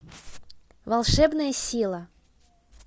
волшебная сила